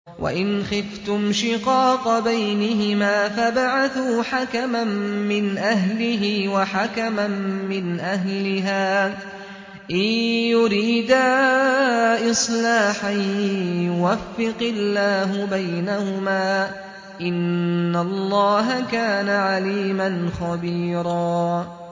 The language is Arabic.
وَإِنْ خِفْتُمْ شِقَاقَ بَيْنِهِمَا فَابْعَثُوا حَكَمًا مِّنْ أَهْلِهِ وَحَكَمًا مِّنْ أَهْلِهَا إِن يُرِيدَا إِصْلَاحًا يُوَفِّقِ اللَّهُ بَيْنَهُمَا ۗ إِنَّ اللَّهَ كَانَ عَلِيمًا خَبِيرًا